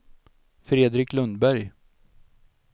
Fredrik Lundberg